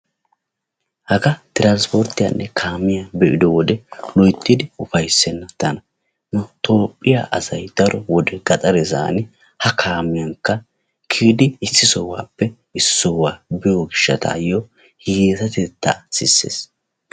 Hagaa tiraanispporttiyanne kaamiya be"ido wode loyttidi ufayssenna tana. Nu toophphiya asayi daro wode gaxare sohuwani ha kaamiyankka kiyidi issi sohuwappe issi sohuwa biyo gishshataayyo hiyyeesatettaa sisses.